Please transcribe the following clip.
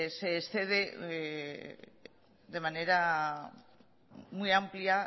se excede de manera muy amplia